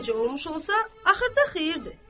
Hər necə olmuş olsa, axırda xeyirdir.